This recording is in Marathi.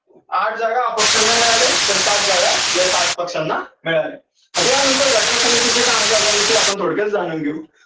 आठ जागा अपक्षांना मिळाल्या आणि सात जागा या सात पक्षांना मिळाल्या. आता या नंतर घटना समितीच्या कामकाजाविषयी आपण थोडक्यात जाणून घेऊ.